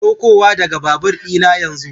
Saukowa daga babur ɗina yanzu